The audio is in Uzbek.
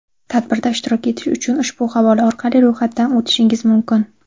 Tadbirda ishtirok etish uchun ushbu havola orqali ro‘yxatdan o‘tishingiz mumkin.